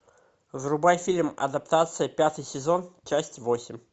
врубай фильм адаптация пятый сезон часть восемь